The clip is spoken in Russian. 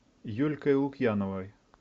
юлькой лукьяновой